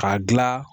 K'a gilan